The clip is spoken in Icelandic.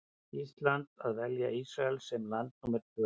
Íslands að velja Ísrael sem land númer tvö.